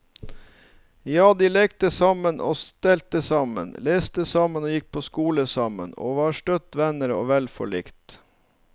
Ja, de lekte sammen og stelte sammen, leste sammen og gikk på skole sammen, og var støtt venner og vel forlikt.